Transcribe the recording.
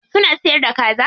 Suna siyar da kaza?